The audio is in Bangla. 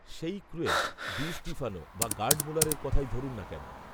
সেই ক্রুয়েফ, ডি স্টিফানো বা গার্ড মুলারের কথাই ধরুন না কেন